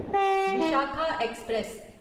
Vishakha express